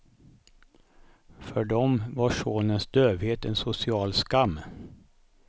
För dem var sonens dövhet en social skam.